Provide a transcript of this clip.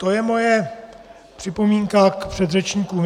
To je moje připomínka k předřečníkům.